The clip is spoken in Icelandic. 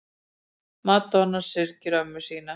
Madonna syrgir ömmu sína